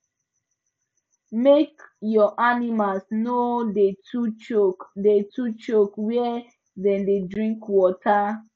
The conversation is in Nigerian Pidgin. make your animals no da too choke da too choke where dem da drink water